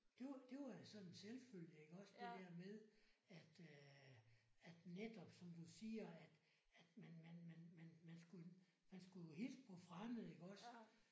Det var det var sådan en selvfølge iggås det der med at at netop som du siger at at man man man man man man skulle jo hilse på fremmede iggås